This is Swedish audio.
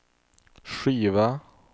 skiva